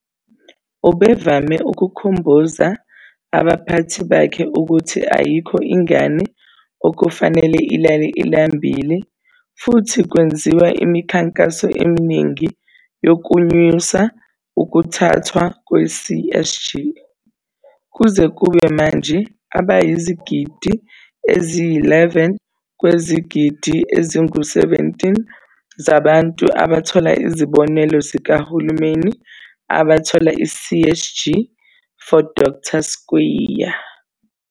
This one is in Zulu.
Ubevame ukukhumbuza abaphathi bakhe ukuthi ayikho ingane okufanele ilale ilambile, futhi kwenziwa imikhankaso eminingi yokwenyusa ukuthathwa kwe-CSG. Kuze kube manje, abayizigidi eziyi-11 kwezigidi eziyi-17 zabantu abathola izibonelelo zikahulumeni abathola i-CSG. For Dr Skweyiya.